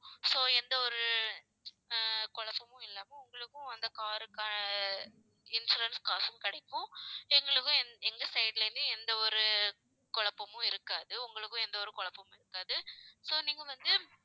so எந்த ஒரு ஆஹ் குழப்பமும் இல்லாம உங்களுக்கும் அந்த car க்கு insurance காசும் கிடைக்கும். எங்களுக்கும் எங்~ எங்க side ல இருந்து, எந்த ஒரு குழப்பமும் இருக்காது. உங்களுக்கும் எந்த ஒரு குழப்பமும் இருக்காது. so நீங்க வந்து